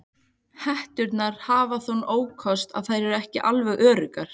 Hetturnar hafa þann ókost að þær eru ekki alveg öruggar.